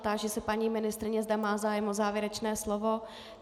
Táži se paní ministryně, zda má zájem o závěrečné slovo.